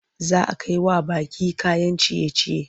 Za a kai wa baƙi kayan ciye-ciye.